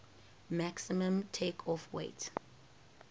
maximum takeoff weight